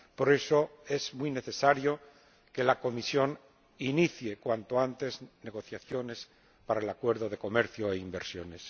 Por eso, es muy necesario que la Comisión inicie cuanto antes negociaciones para el Acuerdo de Comercio e Inversiones.